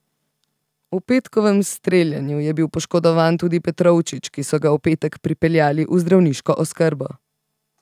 V petkovem streljanju je bil poškodovan tudi Petrovčič, ki so ga v petek pripeljali v zdravniško oskrbo.